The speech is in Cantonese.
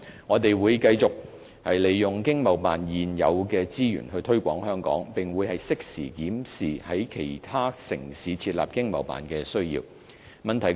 我們會繼續利用經貿辦現有的資源推廣香港，並會適時檢視在其他城市設立經貿辦的需要。